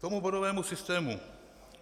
K tomu bodovému systému.